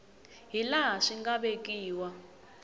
hi laha swi nga vekiwa